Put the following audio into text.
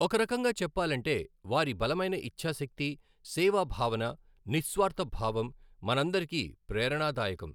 ఒక రకంగా చెప్పాలంటే వారి బలమైన ఇఛ్చాశక్తి, సేవా భావన, నిస్వార్థ భావం, మనందరికీ ప్రేరణాదాయకం.